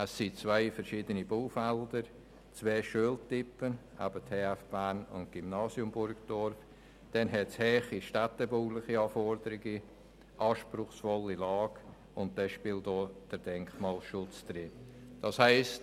Man hat zwei verschiedene Baufelder, zwei Schultypen – die TF Bern und das Gymnasium Burgdorf –, dann gibt es hohe städtebauliche Anforderungen, eine anspruchsvolle Lage, und auch der Denkmalschutz spielt hinein.